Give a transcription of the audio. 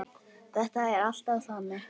Það er alltaf þannig.